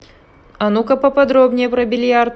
а ну ка поподробнее про бильярд